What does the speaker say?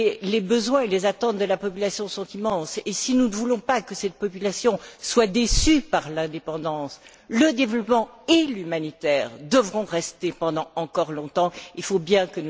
Les besoins et les attentes de la population sont immenses et, si nous ne voulons pas que cette population soit déçue par l'indépendance, le développement et l'humanitaire devront rester longtemps encore.